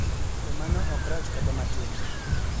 To mano ok rach kata matin